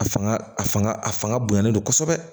A fanga a fanga a fanga bonyana don kosɛbɛ